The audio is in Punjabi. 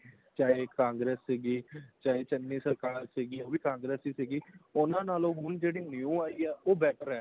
ਚਾਹੇ ਕਾੰਗ੍ਰੇਸ ਸੀਗੀ ਚਾਹੇ ਚੰਨੀ ਸਰਕਾਰ ਸੀਗੀ ਉਹ ਵੀ ਕਾੰਗ੍ਰੇਸ ਹੀ ਸੀਗੀ ਉਹਨਾ ਨਾਲੋਂ ਹੁਣ ਜਿਹੜੀ new ਆਈ ਹੈ ਉਹ better ਹੈ